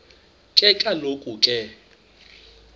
ke kaloku ke